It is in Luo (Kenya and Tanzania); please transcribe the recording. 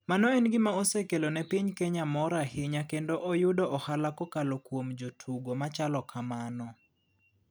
Mano en gima osekelo ne piny kenya mor ahinya kendo oyudo ohala kokalo kuom jotugo machalo kamano.